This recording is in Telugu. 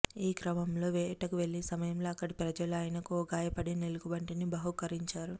ఈ క్రమంలో వేటకు వెళ్లిన సమయంలో అక్కడి ప్రజలు ఆయనకు ఓ గాయపడిన ఎలుగుబంటిని బహూకరించారు